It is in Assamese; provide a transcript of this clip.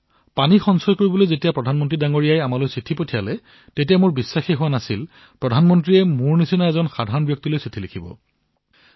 পানী সংৰক্ষণৰ বাবে যেতিয়া প্ৰধানমন্ত্ৰী মহোদয়ে আমালৈ পত্ৰ প্ৰেৰণ কৰিলে তেতিয়া বিশ্বাসেই হোৱা নাছিল যে প্ৰধানমন্ত্ৰীলৈ আমালৈ চিঠি লিখিছে